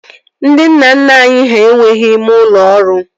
Ndị nna nna anyị ha enweghị ime ụlọ ọrụ